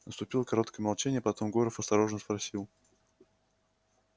наступило короткое молчание потом горов осторожно спросил